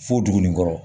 Fo dugu in kɔrɔ